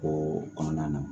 O kɔnɔna na